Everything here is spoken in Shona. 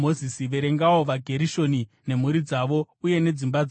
“Verengawo vaGerishoni nemhuri dzavo uye nedzimba dzavo.